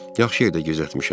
Yaxşı yerdə gizlətmişəm.